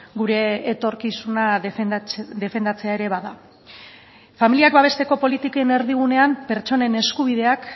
gure etorkizuna defendatzea ere bada familiak babesteko politiken erdigunean pertsonen eskubideak